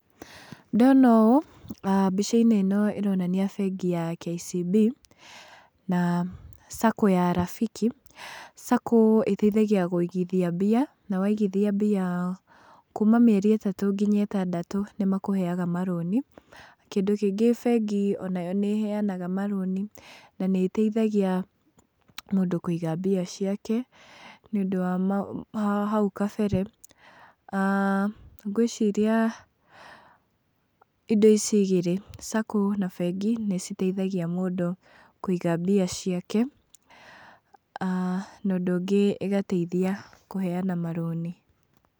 Ndona ũũ mbica-inĩ ĩno ĩronania bengi ya KCB, na Sacco ya Rafiki, Sacco ĩteithagia kũigithia mbia, na waigithia mbia kuma mĩeri ĩtatũ nginya ĩtandatũ nĩ makũheaga marũni, kĩndũ kĩngĩ bengi onayo nĩ ĩheanaga marũni na nĩ ĩteithagia mũndũ kũiga mbica ciake, nĩ ũndũ wa hau kabere, aah ngwĩciria indo ici igĩrĩ, Sacco na bengi nĩ citeithagia mũndũ kũiga mbia ciake, na ũndũ ũngĩ ĩgateithia kũheyana marũni.